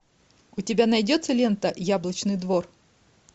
у тебя найдется лента яблочный двор